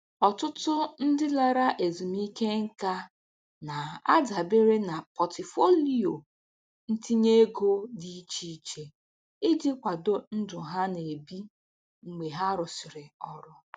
Ọtụtụ ndị lara ezumike nka na-adabere na pọtụfoliyo ntinye ego dị iche iche iji kwado ndụ ha na-ebi mgbe ha rụsịrị ọrụ.